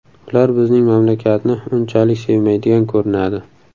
Ular bizning mamlakatni unchalik sevmaydigan ko‘rinadi.